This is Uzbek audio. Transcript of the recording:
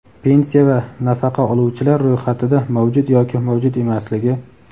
pensiya va nafaqa oluvchilar ro‘yxatida mavjud yoki mavjud emasligi;.